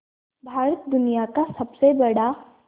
भारत दुनिया का सबसे बड़ा